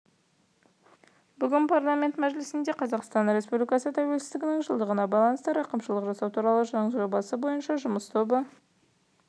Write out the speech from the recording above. бүгін парламент мәжілісінде қазақстан республикасы тәуелсіздігінің жылдығына байланысты рақымшылық жасау турал заң жобасы бойынша жұмыс тобы